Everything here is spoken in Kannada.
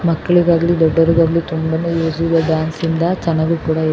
ಮಕ್ಕಳಿಗಾಗ್ಲಿ ದೊಡ್ಡವರಿಗಾಗಲಿ ತುಂಬಾನೇ ಯೂಸಿ ದೆ ಡ್ಯಾನ್ಸಿಂದ ಚೆನ್ನಾಗ್ ಕೂಡ ಇರು --